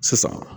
Sisan